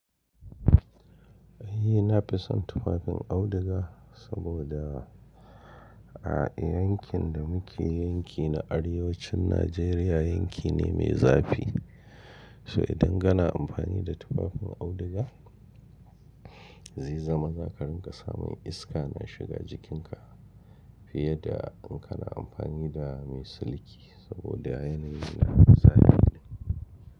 Ni nafi son tufafin auduga saboda a yankin da muke yanki na arewacin Najeriya yanki ne mai zafi. So idan kana amfani da tufafin auduga zai zama za ka rinƙa samun iska na shiga jikinka fiye da in kana amfani da mai siliki saboda yanayi na zafi ne.